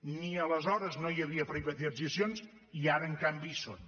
ni aleshores no hi havia privatitzacions i ara en canvi hi són